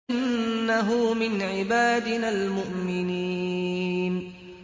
إِنَّهُ مِنْ عِبَادِنَا الْمُؤْمِنِينَ